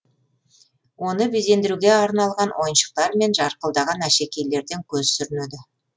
оны безендіруге арналған ойыншықтар мен жарқылдаған әшекейлерден көз сүрінеді